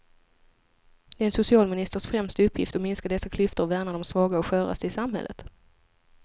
Det är en socialministers främsta uppgift att minska dessa klyftor och värna de svaga och sköraste i samhället.